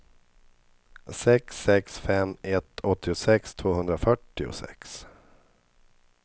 sex sex fem ett åttiosex tvåhundrafyrtiosex